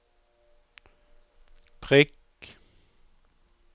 prikk